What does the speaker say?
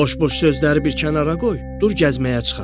Boş-boş sözləri bir kənara qoy, dur gəzməyə çıxaq.